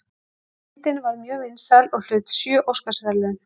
Myndin varð mjög vinsæl og hlaut sjö Óskarsverðlaun.